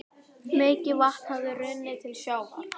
Mikið vatn hafði runnið til sjávar.